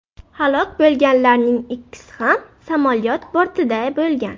Halok bo‘lganlarning ikkisi ham samolyot bortida bo‘lgan.